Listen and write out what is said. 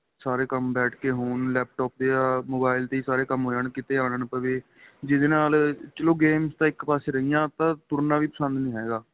ਸਾਰੇ ਕੰਮ ਬੈਠ ਕੇ ਹੋਣ laptop ਜਾਂ mobile ਤੇ ਹੀ ਸਾਰੇ ਕੰਮ ਹੋ ਜਾਣ ਕਿਥੇ ਆਂਣਾ ਨਾ ਪਵੇ ਜਿਹਦੇ ਨਾਲ ਚਲੋਂ games ਤਾਂ ਇੱਕ ਪਾਸੇ ਰਹਿ ਗਈਆਂ ਉਹ ਤਾਂ ਤੁਰਨਾ ਵੀ ਪਸੰਦ ਨਹੀਂ ਹੈਗਾ